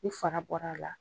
Ni fara bɔr'a la.